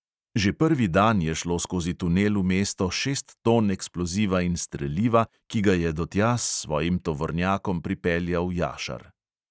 Že prvi dan je šlo skozi tunel v mesto šest ton eksploziva in streliva, ki ga je do tja s svojim tovornjakom pripeljal jašar.